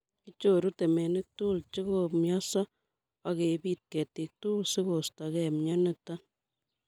Kichoru temenik tugul chekomioso ok kebit ketik tugul sigostogei mioniton